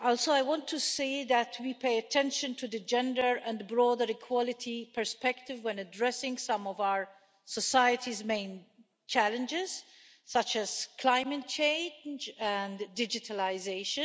I want to see that we pay attention to the gender and broader equality perspective when addressing some of our society's main challenges, such as climate change and digitalisation.